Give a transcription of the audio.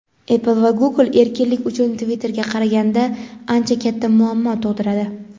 Apple va Google erkinlik uchun Twitter’ga qaraganda ancha katta muammo tug‘diradi.